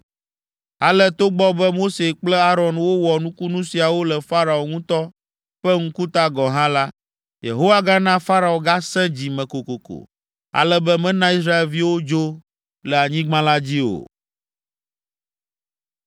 Ale togbɔ be Mose kple Aron wowɔ nukunu siawo le Farao ŋutɔ ƒe ŋkuta gɔ̃ hã la, Yehowa gana Farao gasẽ dzi me kokoko, ale be mena Israelviwo dzo le anyigba la dzi o.